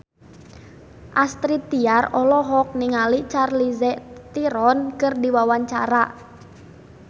Astrid Tiar olohok ningali Charlize Theron keur diwawancara